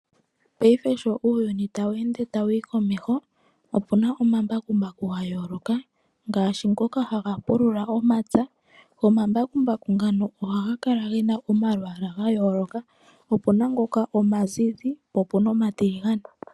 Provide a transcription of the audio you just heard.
Paife sho uuyuni ta wu ende ta wu yi komeho opu na omambakumbaku gayooloka ngaashi ngoka haga pulula omapya go omambakumbaku ngano oha ga kala ge na omalwaala ga yooloka, opu na ngoka omazizi po opu na omatiligane.